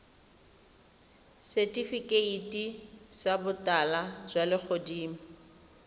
setifikeiti sa botala jwa legodimo